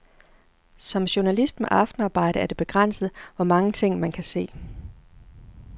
Som journalist med aftenarbejde er det begrænset, hvor mange ting, man kan se.